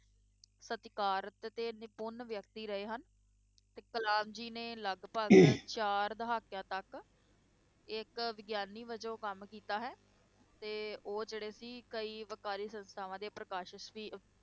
ਸਤਿਕਾਰਕ ਅਤੇ ਨਿਪੁੰਨ ਵਿਅਕਤੀ ਰਹੇ ਹਨ, ਤੇ ਕਲਾਮ ਜੀ ਨੇ ਲਗਪਗ ਚਾਰ ਦਹਾਕਿਆਂ ਤੱਕ ਇੱਕ ਵਿਗਿਆਨੀ ਵਜੋਂ ਕੰਮ ਕੀਤਾ ਹੈ, ਤੇ ਉਹ ਜਿਹੜੇ ਸੀ ਕਈ ਵਕਾਰੀ ਸੰਸਥਾਵਾਂ ਦੇ ਪ੍ਰਕਾਸ਼ਸ ਵੀ